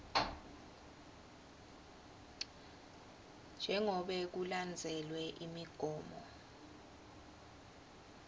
jengobe kulandzelwe imigomo